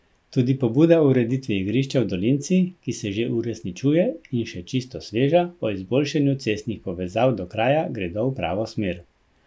Tudi pobuda o ureditvi igrišča v dolinci, ki se že uresničuje, in še čisto sveža, o izboljšanju cestnih povezav do kraja, gredo v pravo smer.